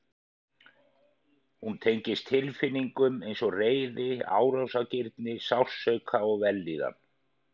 Hún tengist tilfinningum eins og reiði, árásargirni, sársauka og vellíðan.